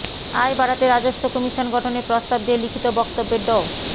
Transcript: আয় বাড়াতে রাজস্ব কমিশন গঠনের প্রস্তাব দিয়ে লিখিত বক্তব্যে ড